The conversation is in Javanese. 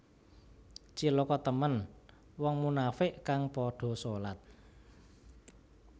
Cilaka temen wong munafiq kang padha solat